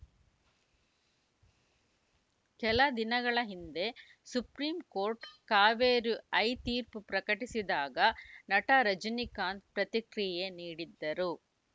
ಕೆಲ ದಿನಗಳ ಹಿಂದೆ ಸುಪ್ರೀಂಕೋರ್ಟ್‌ ಕಾವೇರಿ ಐತೀರ್ಪು ಪ್ರಕಟಿಸಿದಾಗ ನಟ ರಜನೀಕಾಂತ್‌ ಪ್ರತಿಕ್ರಿಯೆ ನೀಡಿದ್ದರು